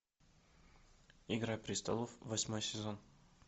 игра престолов восьмой сезон